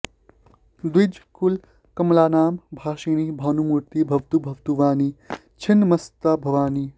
द्विजकुलकमलानां भासिनी भानुमूर्ति भवतु भवतु वाणी च्छिन्नमस्ता भवानी